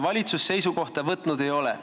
Valitsus seisukohta võtnud ei ole.